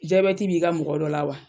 Zabɛti b'i ka mɔgɔ dɔ la wa?